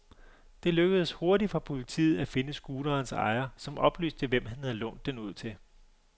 Det lykkedes hurtigt for politiet at finde scooterens ejer, som oplyste hvem han havde lånt den ud til.